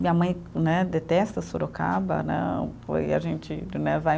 Minha mãe, né, detesta Sorocaba, né, foi a gente né, vai.